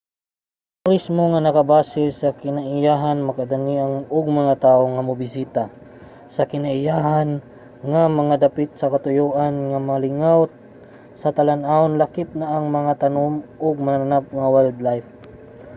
ang turismo nga nakabase sa kinaiyahan makadani og mga tawo nga mobisita sa kinaiyahan nga mga dapit sa katuyoan nga malingaw sa talan-awon lakip na ang tanom ug mananap nga wildlife